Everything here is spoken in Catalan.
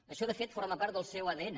això de fet forma part del seu adn